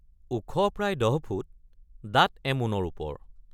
ওখ প্ৰায় ১০ ফুট দাঁত এমোনৰ ওপৰ।